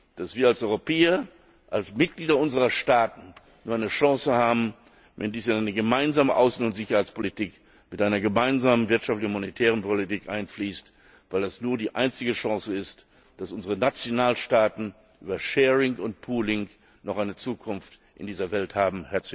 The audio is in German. dass wir als Europäer, als Mitglieder unserer Staaten nur eine Chance haben, wenn dies in eine gemeinsame Außen und Sicherheitspolitik mit einer gemeinsamen wirtschaftlichen und monetären Politik einfließt, weil das die einzige Chance ist, dass unsere Nationalstaaten über sharing und pooling noch eine Zukunft in dieser Welt haben